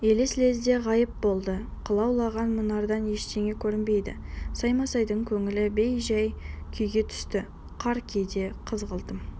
елес лезде ғайып болды қылаулаған мұнардан ештеңе көрінбеді саймасайдың көңілі бей-жай күйге түсті қар кейде қызғылтым